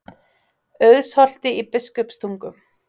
Auðsholti í Biskupstungum.